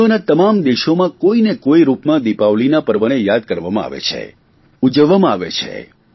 વિશ્વના તમામ દેશોમાં કોઇને કોઇ રૂપમાં દિપાવલીના પર્વને યાદ કરવામાં આવે છે ઉજવવામાં આવે છે